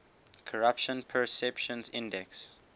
corruption perceptions index